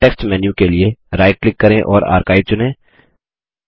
context menu के लिए right click करें और आर्काइव चुनें